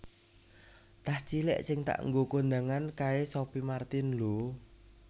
Tas cilik sing tak nggo kondangan kae Sophie Martin lho